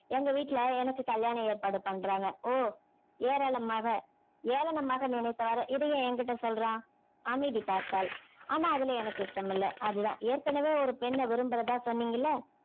எங்க வீட்ல எனக்கு கல்யாண ஏற்பாடு பண்றாங்க ஓ ஏராளமாக~ ஏளனமாக நினைத்தவாறு இத ஏன் என்கிட்ட சொல்றான் அமைதி காத்தாள் ஆனா அதுல எனக்கு இஷ்டம் இல்ல அதுதான் ஏற்கனவே ஒரு பெண்ணை விரும்புறதா சொன்னீங்க இல்ல?